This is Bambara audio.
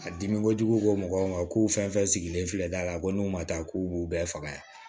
A dimi kojugu ko mɔgɔw ma ko fɛn sigilen filɛ da la a ko n'u ma taa k'u b'u bɛɛ faga yan